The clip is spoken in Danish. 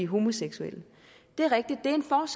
homoseksuelle det er rigtigt